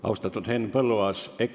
Austatud Henn Põlluaas!